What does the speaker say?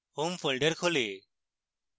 home folder খোলে